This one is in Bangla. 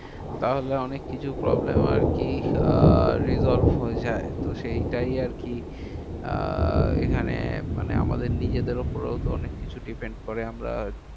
তাহলে অনেক কিছু problem আরকি আর resolve হয়ে যায়। তো সেইটাই আরকি আহ এখানে মানে আমাদের নিজেদের উপরেও তো অনেককিছু depend করে। আমরা